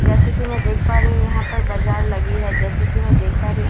जैसे की मैं देख पा रही हूँ यहाँ पर बजार लगी हैं जैसे की मैं देख पा रही हूँ --